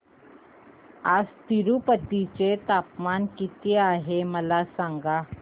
आज तिरूपती चे तापमान किती आहे मला सांगा